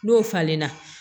N'o falenna